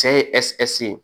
Cɛ ye ye